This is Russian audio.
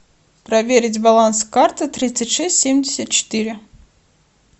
проверить баланс карты тридцать шесть семьдесят четыре